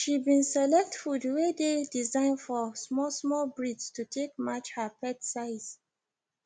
she been select food wey dey design for small small breeds to take match her pet size